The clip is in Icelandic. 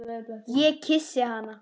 Ég kyssi hana.